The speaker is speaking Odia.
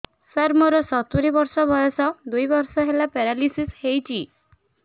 ସାର ମୋର ସତୂରୀ ବର୍ଷ ବୟସ ଦୁଇ ବର୍ଷ ହେଲା ପେରାଲିଶିଶ ହେଇଚି